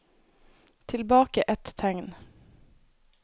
Tilbake ett tegn